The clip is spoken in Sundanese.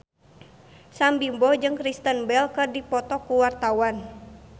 Sam Bimbo jeung Kristen Bell keur dipoto ku wartawan